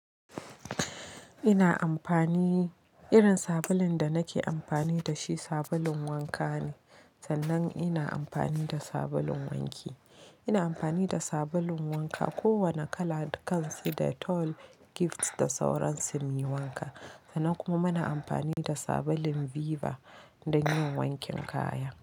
Ina amfani, irin sabulun da nake amfani da shi sabulun wanka ne. Sannan ina amfani da sabulun wanki. Ina amfani da sabulun wanka kowane kala dukansa dettol, Gifts da sauran su muyi wanka. Sannan kuma muna amfani da sabulun Viva don yin wankin kaya.